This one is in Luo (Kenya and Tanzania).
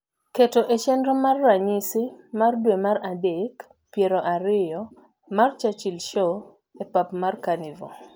keto e chenro mar ranyisi mar dwe mar adek piero ariyo mar churchil show e pap mar kanivore